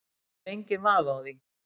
Það er enginn vafi á því